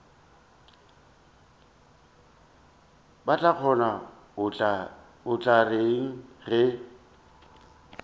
batlagonna o tla reng ge